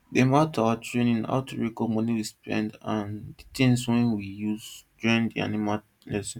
dem add to our training how to record money we spend and things wey we use join the animal lesson